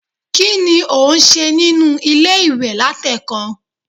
kini o n se ninu ile-iwe latekan?